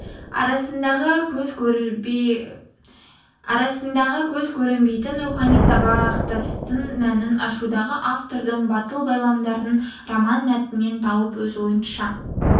арасындағы көз көрінбейтін рухани сабақтастың мәнін ашудағы автордың батыл байламдарын роман мәтінен тауып өз ойыңызша